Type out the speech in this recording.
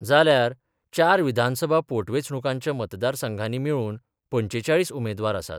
जाल्यार चार विधानसभा पोटवेचणुकांच्या मतदार संघानी मेळुन पंचेचाळीस उमेदवार आसात.